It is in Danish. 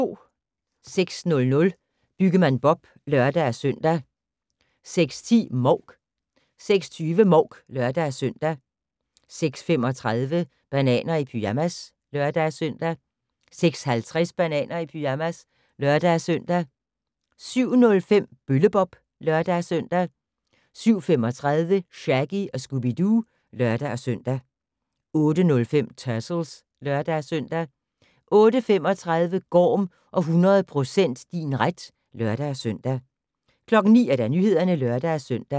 06:00: Byggemand Bob (lør-søn) 06:10: Mouk 06:20: Mouk (lør-søn) 06:35: Bananer i pyjamas (lør-søn) 06:50: Bananer i pyjamas (lør-søn) 07:05: Bølle-Bob (lør-søn) 07:35: Shaggy & Scooby-Doo (lør-søn) 08:05: Turtles (lør-søn) 08:35: Gorm og 100% din ret (lør-søn) 09:00: Nyhederne (lør-søn)